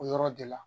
O yɔrɔ de la